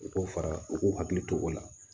U k'u fara u k'u hakili to o la